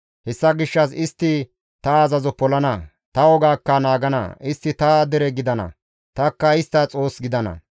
Hessa gishshas istti ta azazo polana; ta wogaakka naagana. Istti ta dere gidana; tanikka istta Xoos gidana.